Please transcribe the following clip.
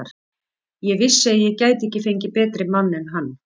Ég vissi að ég gæti ekki fengið betri mann en hann.